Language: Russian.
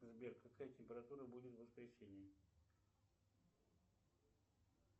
сбер какая температура будет в воскресенье